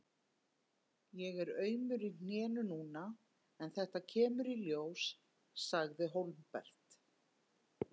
Ég er aumur í hnénu núna en þetta kemur í ljós, sagði Hólmbert.